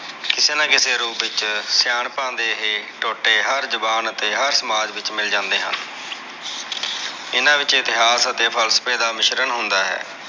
ਕਿਸੇ ਨਾ ਕਿਸੇ ਰੂਪ ਵਿਚ ਸਿਆਣਪਾਂ ਦੇ ਇਹ ਟੋਟੇ ਹਰ ਜ਼ੁਬਾਨ ਅਤੇ ਹਰ ਸਮਾਜ ਵਿਚ ਮਿਲ ਜਾਂਦੇ ਹਨ ਹਨ ਵਿਚ ਇਤਿਹਾਸ ਅਤੇ ਫਲਸਫ਼ੇ ਦਾ ਮਿਸ਼੍ਰਣ ਹੁੰਦਾ ਹੈ।